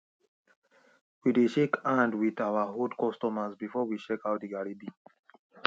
we dey shake hand with our old customers before we check how the garri be